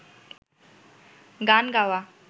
গান গাওয়া